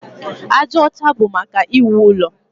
Aja ọcha bụ maka iwu ụlọ.